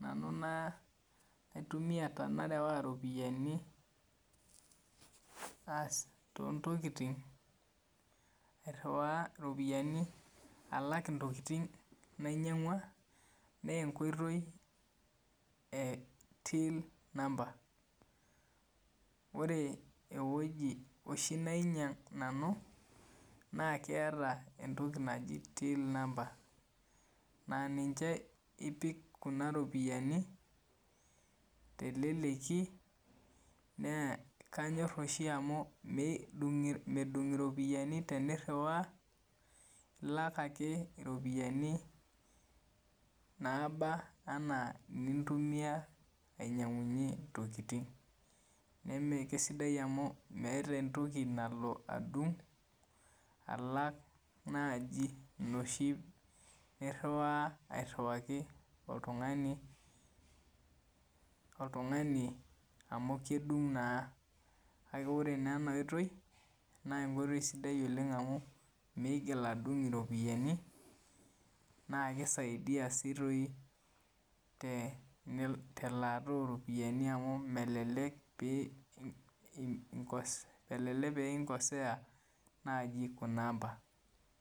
nanu naaitumia tenarewaa iropiyani aas toontokitin iriwaa iropiyiani alak intokitin nainyangua naa enkoitoi ee till number oree eweji oshii nainyang' nanu naa keeta entoki naji till number naa ninche ipik kuna ropiyani teleleki, naa kanyorr oshii amu medung' iropiyani teni rriwaa ilak ake irropiyiani naaba enaa inintumia ainyang'unyie intokitin nemee kesidai amuu meeta entoki nalo adung' alang' najii inoshii niriwaa airiwaki oltung'ani amu kedung' naa, kake oree naa ena oitoi naa enkoitoi sidai oleng' amuu meigil adung' iropiyiani, naa keisaidia telaata oo ropiyani amu melelek pee inkosea najii Kuna ampaa.